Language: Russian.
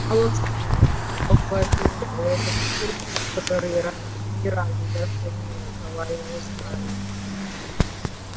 молодцы похвалил пятикурсник который раньше ни разу даже не разговаривал с гарри